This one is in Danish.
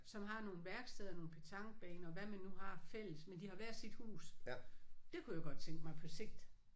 Som har nogle værksteder nogle petanquebaner hvad man nu har fælles men de har hvert sit hus. Det kunne jeg godt tænke mig på sigt